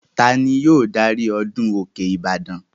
Ta ni yóò darí ọdún òkè ìbàdàn?